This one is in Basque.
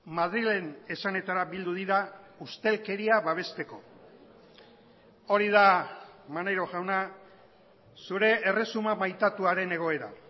madrilen esanetara bildu dira ustelkeria babesteko hori da maneiro jauna zure erresuma maitatuaren egoera